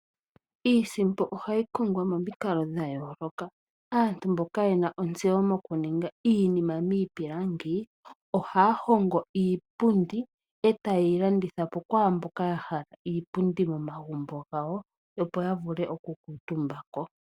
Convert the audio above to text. Iisimpo ohayi kongwa momikalo dha yooloka. Aantu mboka yena ontseyo mokuninga iipilangi, ohaa hongo iipundi, etaye yi landitha po kwaamboka ya hala iipundi momagumbo gawo opo ya vule okukuutumba ko.